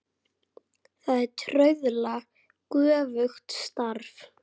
Það er trauðla göfugt starf.